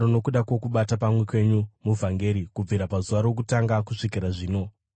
nokuda kwokubata pamwe kwenyu muvhangeri kubvira pazuva rokutanga kusvikira zvino,